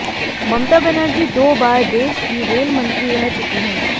ममता बनर्जी दो बार देश की रेल मंत्री रह चुकी हैं